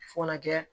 Fɔ ka na kɛ